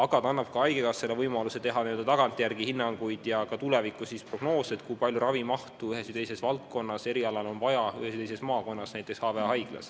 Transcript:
See annab haigekassale võimaluse teha tagantjärele hinnanguid ja ka tulevikuprognoose, kui palju ravimahtu ühel või teisel erialal on vaja ühes või teises maakonnas.